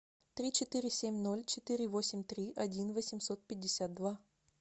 три четыре семь ноль четыре восемь три один восемьсот пятьдесят два